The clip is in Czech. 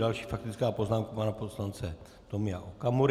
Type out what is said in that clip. Další faktická poznámka pana poslance Tomia Okamury.